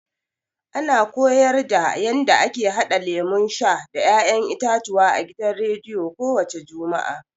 A na koyarda yanda ake haɗa lemun sha da ya'yan itatuwa a gidan rediyo ko wace juma'a.